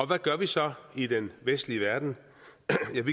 hvad gør vi så i den vestlige verden